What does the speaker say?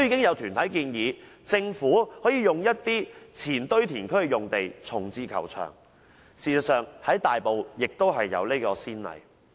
有團體建議，政府可在一些前堆填區的用地重置球場，事實上在大埔已有先例。